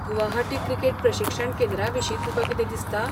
Guwahati cricket प्रशिक्षण केंद्रा विशीं तुकां कितें दिसता?